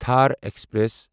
Thar express